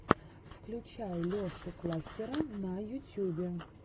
включай лешу кластера на ютьюбе